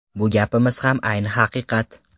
Bu gapimiz ham ayni haqiqat!